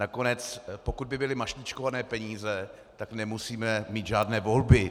Nakonec pokud by byly mašličkované peníze, tak nemusíme mít žádné volby.